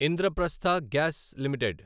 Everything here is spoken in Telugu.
Indraprastha gas limited